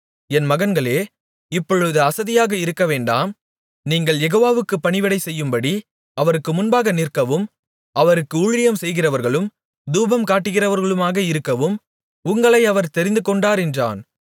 என் மகன்களே இப்பொழுது அசதியாக இருக்கவேண்டாம் நீங்கள் யெகோவாவுக்குப் பணிவிடை செய்யும்படி அவருக்கு முன்பாக நிற்கவும் அவருக்கு ஊழியம்செய்கிறவர்களும் தூபம்காட்டுகிறவர்களுமாக இருக்கவும் உங்களை அவர் தெரிந்து கொண்டார் என்றான்